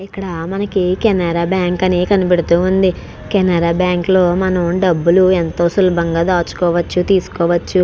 ఇక్కడ కేనార బ్యాంకు ఉంది. ఈ కేనార బ్యాంకు లో మనక డబులు తెసుకోవ చు.